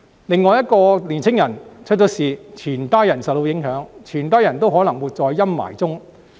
另外，一個年青人出了事，全家人都會受到影響，都可能會活在陰霾中。